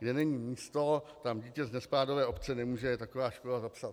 Kde není místo, tam dítě z nespádové obce nemůže taková škola zapsat.